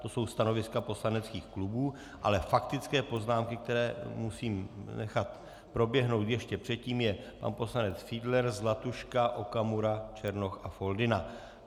To jsou stanoviska poslaneckých klubů, ale faktické poznámky, které musím nechat proběhnout ještě předtím, je pan poslanec Fiedler, Zlatuška, Okamura, Černoch a Foldyna.